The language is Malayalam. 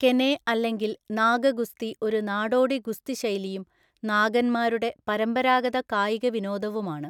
കെനെ അല്ലെങ്കിൽ നാഗ ഗുസ്തി ഒരു നാടോടി ഗുസ്തി ശൈലിയും നാഗന്മാരുടെ പരമ്പരാഗത കായിക വിനോദവുമാണ്.